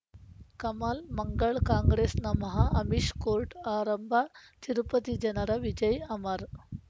ಕಮಲ್ ಮಂಗಳ್ ಕಾಂಗ್ರೆಸ್ ನಮಃ ಅಮಿಷ್ ಕೋರ್ಟ್ ಆರಂಭ ತಿರುಪತಿ ಜನರ ವಿಜಯ್ ಅಮರ್